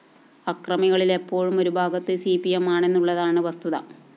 അക്രമങ്ങളില്‍ എപ്പോഴും ഒരുഭാഗത്ത് C P M ആണെന്നുള്ളതാണ് വസ്തുത